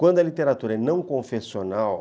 Quando a literatura é não confessional...